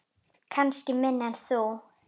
Kannski minna en þú.